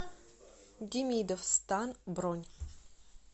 демидов стан бронь